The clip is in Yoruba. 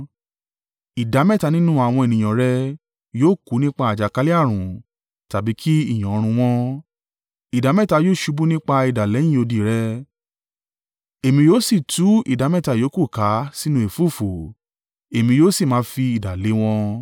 Ìdámẹ́ta nínú àwọn ènìyàn rẹ yóò kú nípa àjàkálẹ̀-ààrùn tàbí kí ìyàn run wọ́n: ìdámẹ́ta yóò ṣubú nípa idà lẹ́yìn odi rẹ, èmi yóò sì tú ìdámẹ́ta yòókù ká sínú ẹ̀fúùfù, èmi yóò sì máa fi idà lé wọn.